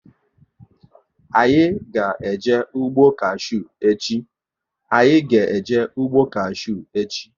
Anyị ga eje ụgbọ kashew echi